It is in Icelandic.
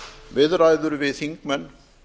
viðræður við þingmenn